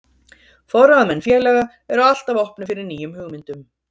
Forráðamenn félaga eru alltaf opnir fyrir nýjum hugmyndum.